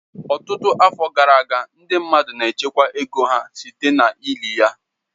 Ọtụtụ afọ gara aga, ndị mmadụ n'echekwa ego ha site na-ili ya.